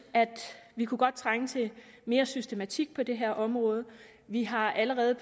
vi godt kunne trænge til mere systematik på det her område vi har allerede